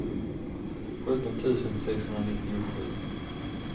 sjutton tusen sexhundranittiosju